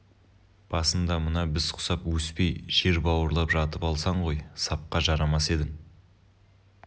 басыңда мына біз құсап өспей жер бауырлап жатып алсаң ғой сапқа жарамас едің